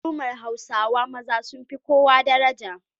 Al'ummar Hausawa maza sun fi kowa daraja.